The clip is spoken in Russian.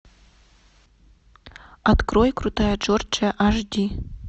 открой крутая джорджия аш ди